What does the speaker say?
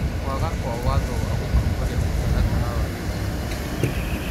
Kwaga kwa watho wa gũtongoria mũtaratara wa gĩthurano kĩu ,